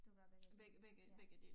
Du var ved ja